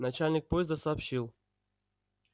начальник поезда сообщил